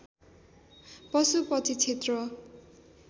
पशुपति क्षेत्र